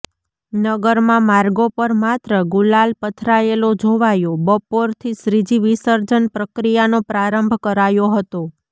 નગરમાં માર્ગો પર માત્ર ગુલાલ પથરાયેલો જોવાયો ઃ બપોરથી શ્રીજી વિસર્જન પ્રક્રીયાનો પ્રારંભ કરાયો હતો